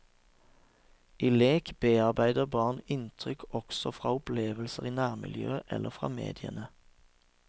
I lek bearbeider barn inntrykk også fra opplevelser i nærmiljøet eller fra mediene.